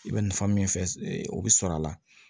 I bɛ nafa min fɛ o bɛ sɔrɔ a la